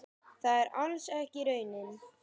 Það er alls ekki raunin.